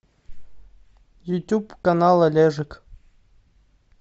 ютуб канал олежек